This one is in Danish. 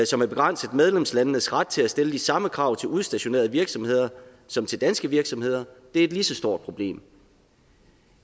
som begrænser medlemslandenes ret til at stille de samme krav til udstationerede virksomheder som til danske virksomheder er et lige så stort problem